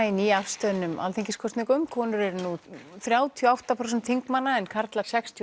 í nýafstöðnum alþingiskosningum konur eru nú þrjátíu og átta prósent þingmanna en karlar sextíu